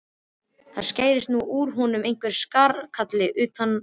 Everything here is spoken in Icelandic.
Það skarst inn úr honum einhver skarkali utan af götunni.